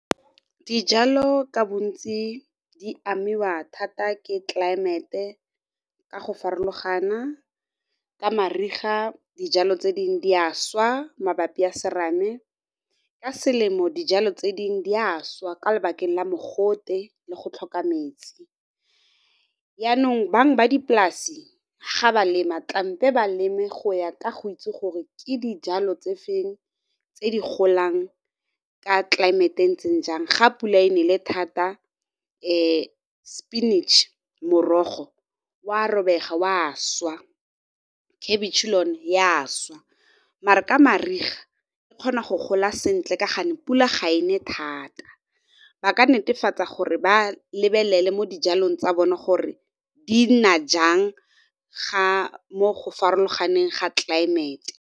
Dijalo ka bontsi di amiwa thata ke tlelaemete ka go farologana, ka mariga dijalo tse dingwe di a swa mabapi a serame, ka selemo dijalo tse dingwe di a swa ka lebakeng la mogote le go tlhoka metsi. Yaanong bangwe ba dipolase ga ba lema tlamehile ba leme go ya ka go itse gore ke dijalo tse feng tse di golang ka tlelaemete e ntseng jang, ga pula e nele thata spinach-e, morogo o a robega o a swa, khabitšhe le yone ya šwa mara ka mariga e kgona go gola sentle ka gonne pula ga e ne thata. Ba ka netefatsa gore ba lebelele mo dijalong tsa bone gore di na jang mo go farologaneng ga tlelaemete.